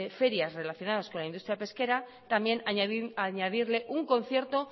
ferias relacionadas con la industria pesquera también añadirle un concierto